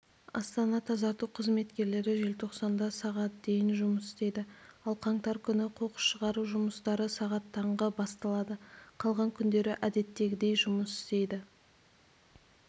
астана-тазарту қызметкерлері желтоқсанда сағат дейін жұмыс істейді ал қаңтар күні қоқыс шығару жұмыстары сағат таңғы басталады қалған күндері әдеттегідей жұмыс істейді